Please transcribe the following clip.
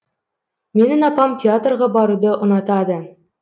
менің апам театрға баруды ұнатады